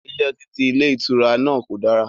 Ilé ọtí ti ilé ìtura náà kò dára